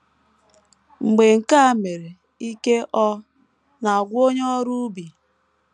Mgbe nke a mere, ike ọ̀ na - agwụ onye ọrụ ubi?